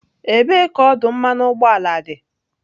Ebee ka ọdụ mmanụ ụgbọala dị?